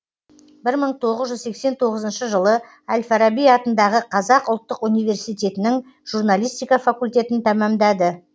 бір мың тоғыз жүз сексен тоғызыншы жылы әл фараби атындағы қазақ ұлттық университетінің журналистика факультетін тәмамдады